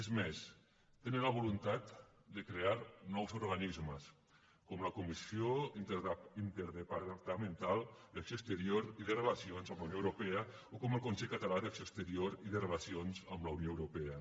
és més tenen la voluntat de crear nous organismes com la comissió interdepartamental d’acció exterior i de relacions amb la unió europea o com el consell català d’acció exterior i de relacions amb la unió europea